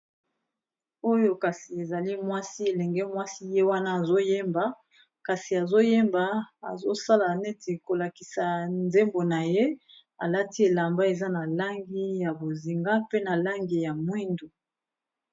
Oyo kasi ezali mwasi elenge mwasi ye wana azoyeba kasi azoyemba azosala neti kolakisa nzembo na ye alati elamba eza na langi ya bozinga pe na langi ya mwindu